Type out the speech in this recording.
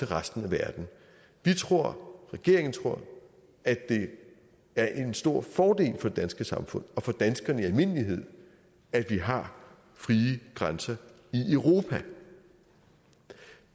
resten af verden vi tror regeringen tror at det er en stor fordel for det danske samfund og for danskerne i almindelighed at vi har frie grænser i europa